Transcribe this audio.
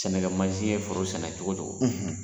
Sɛnɛkɛ mansi ye foro sɛnɛ cogo cogo,